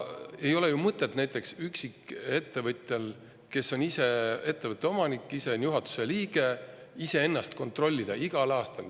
Ei ole ju mõtet näiteks üksikettevõtjal, kes on ise ettevõtte omanik ja juhatuse liige, ennast kontrollida igal aastal.